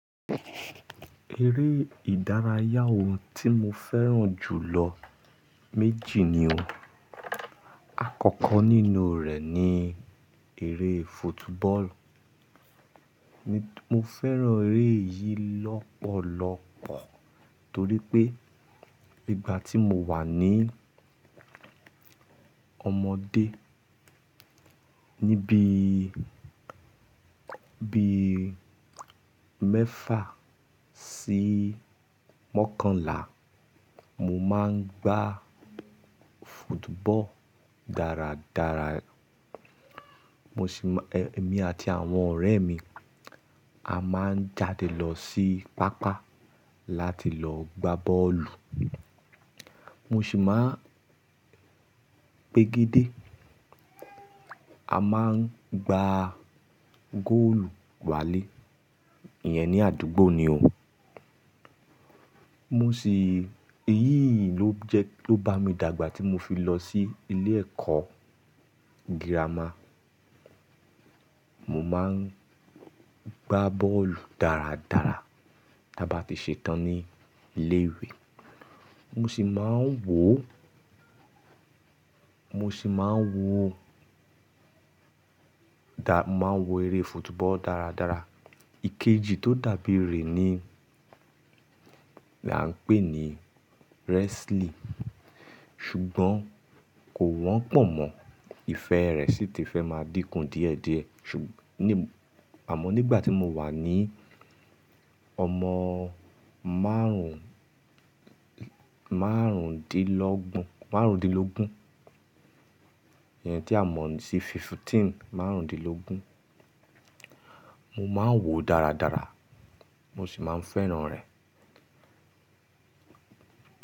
Eré ìdárayá ohun tí mo fẹ́ràn jù lọ méjì ni o. Àkọ́kọ́ nínú rẹ̀ ni eré foot bọ́ọ̀lù. Mo fẹ́ràn eré yìí lọ́pọ̀lọ́pọ̀ torí pé nígbà tí mo wà ní ọmọdé, níbí bí i mẹ́fà sí mọ́kànlá, mo máa ń gbá football dáradára. Mo sì máa-- èmi àti àwọn ọ̀rẹ́ mi a máa ń jáde lọ sí pápá láti lọ gbá bọ́ọ̀lù. Mo sì máa ń pègédé. A máa ń gbá góòlù wálé. Iyẹn ní àdúgbò ni o. Mo sì-- eyín ló jẹ ló bá mi dàgbà tí mo fi lọ sí ilé ẹ̀kọ́ gírámà. Mo máa ń gbá bọ́ọ̀lù dáradára tí a bá ti ṣetán ní ilé ìwé. Mo sì máa ń wò, mo sì máa ń wò dà-- máa ń wò eré football dáradára. Ikeji tó dàbí rẹ̀ ni là ń pè ní wrestling. Ṣùgbọ́n kò wọ́n pọ̀ mọ́. Ìfẹ́ rẹ̀ sì ti fẹ́ máa dínkù díẹ̀díẹ̀. Ṣùgb-- ní-- àmọ́ nígbà tí mo wà ní ọmọ márùn márùn-dínlógbon, márùn-dínlógún, ìyẹn tí a mọ̀ ní fifteen, márùn-dínlógún, mo máa ń wò dáradára. Mo sì máa ń fẹ́ràn rẹ̀.